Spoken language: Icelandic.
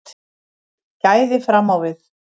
Gæði fram á við